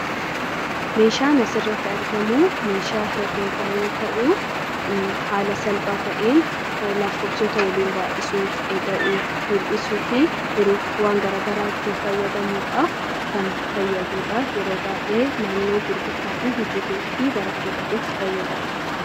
Meshaan as irratti argamuu meshaa hereega yoo ta'u, haala salphaa ta'een laakkofsoota waliin baay'isuu, ida'uu, hir'isuufi hiruuf waan gara garaa ittin faayadamuudhaaf kan faayaduudha. Yeroo baay'ee naannoo gurgurtaa, hojileef, baratootatu itti faayadamaa.